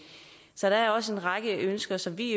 så der er også en række ønsker som vi